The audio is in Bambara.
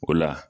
O la